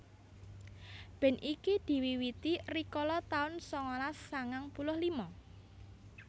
Band iki diwiwiti rikala taun sangalas sangang puluh lima